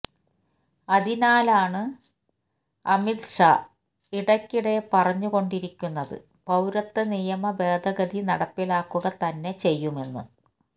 അതിനാലാണ് അമിത്ഷാ ഇടക്കിടെ പറഞ്ഞ് കൊണ്ടിരിക്കുന്നത് പൌരത്വ നിയമ ഭേദഗതി നടപ്പിലാക്കുക തന്നെ ചെയ്യുമെന്ന്